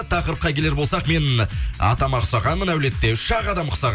тақырыпқа келер болсақ мен атама ұқсағанмын әулетте үш ақ адам ұқсағанбыз дейді